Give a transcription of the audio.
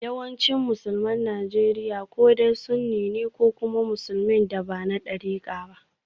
Yawancin Musulman Najeriya ko dai sunni ne ko kuma musulmin da ba na darika ba.